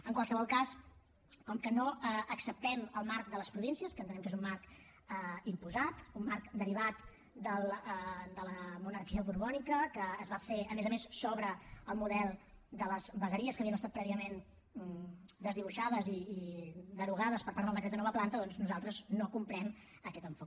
en qualsevol cas com que no acceptem el marc de les províncies que entenem que és un marc imposat un marc derivat de la monarquia borbònica que es va fer a més a més sobre el model de les vegueries que havien estat prèviament desdibuixades i derogades per part del decret de nova planta doncs nosaltres no comprem aquest enfocament